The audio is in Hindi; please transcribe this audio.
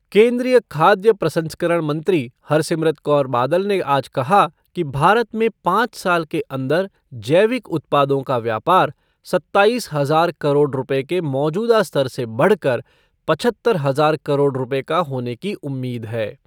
केन्द्रीय खाद्य प्रसंस्करण मंत्री हरसिमरत कौर बादल ने आज कहा कि भारत में पाँच साल के अंदर जैविक उत्पादों का व्यापार सत्ताइस हज़ार करोड़ रुपए के मौजूदा स्तर से बढ़कर पचहत्तर हज़ार करोड़ रुपए का होने की उम्मीद है।